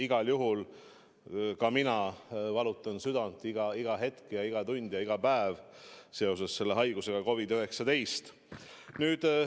Igal juhul ka mina valutan iga hetk, iga tund ja iga päev selle haiguse COVID-19 pärast südant.